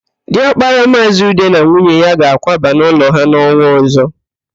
Diọkpara Maazị Ude na nwunye ya ga-akwaba n'ụlọ ha n'ọnwa ọ̀zọ́.